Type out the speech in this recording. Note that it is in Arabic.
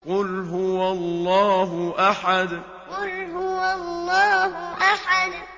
قُلْ هُوَ اللَّهُ أَحَدٌ قُلْ هُوَ اللَّهُ أَحَدٌ